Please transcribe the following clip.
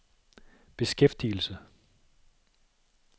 beskæftigelse